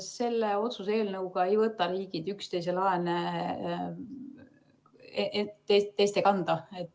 Selle otsuse eelnõuga ei võta riigid üksteise laene kanda.